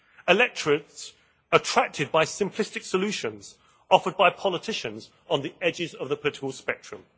electorates attracted by simplistic solutions offered by politicians on the edges of the political spectrum.